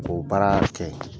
K'o baara kɛ.